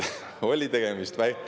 Oli tegemist …